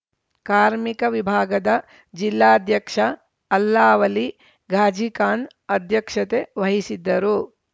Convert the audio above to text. ಕಾರ್ಮಿಕ ವಿಭಾಗದ ಜಿಲ್ಲಾಧ್ಯಕ್ಷ ಅಲ್ಲಾವಲಿ ಘಾಜಿಖಾನ್‌ ಅಧ್ಯಕ್ಷತೆ ವಹಿಸಿದ್ದರು